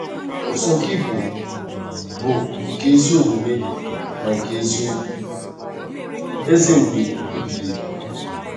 Ụzọ gị bụ bụ nke ezi omume na nke eziokwu, Eze mgbe ebighị ebi.